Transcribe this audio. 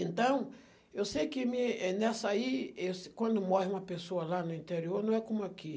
Então, eu sei que mi, eh, nessa aí, eu se, quando morre uma pessoa lá no interior, não é como aqui.